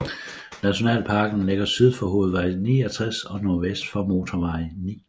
Nationalparken ligger syd for hovedvej 69 og nordvest for motorvej 9